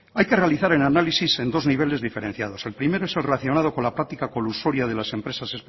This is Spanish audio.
hay que realizar el análisis en dos niveles diferenciados el primero es el relacionado con la práctica colusoria de las empresas